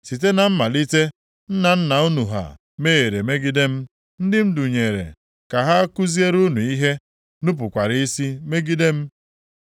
Site na mmalite, nna nna unu ha mehiere megide m. Ndị m dunyere ka ha kuziere unu ihe nupukwara isi megide m.